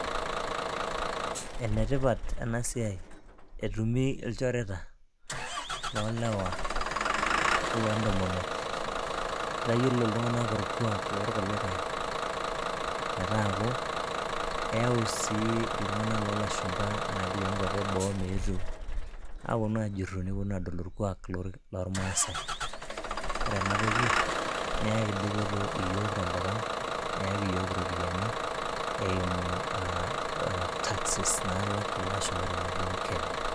Enetipat ena siai ,etumi ilchoreta, loolewa oloo ntomonok. Itayiolo iltunganak olkuuak loorkulikae, metaaku eyau sii iltung'anak loo lasuhumpa ashu iloo nkuapi eboo meetu aapuonu aajurru orkuak loormaasae, ore ena toki neyaki iyiook iropiyiani, eimu taxes naayau ilashumpa tenejing'u Kenya.